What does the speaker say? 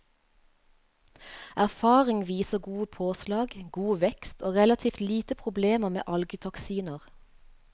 Erfaring viser gode påslag, god vekst og relativt lite problemer med algetoksiner.